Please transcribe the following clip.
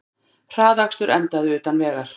Hraðakstur endaði utan vegar